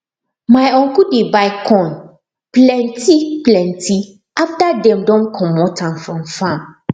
my uncle dey buy corn plentyplenty after dem don comot am from farm